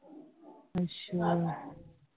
ਅੱਛਾ